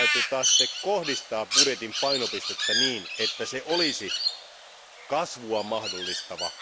Meidän täytyy kohdistaa budjetin painopistettä niin, että se olisi kasvua mahdollistava.